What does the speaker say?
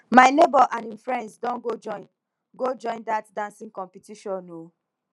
my nebor and him friends don go join go join dat dancing competition o